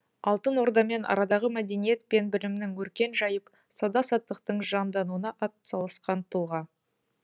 алтын ордамен арадағы мәдениет пен білімнің өркен жайып сауда саттықтың жандануына атсалысқан тұлға